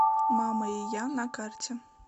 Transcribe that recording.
мама и я на карте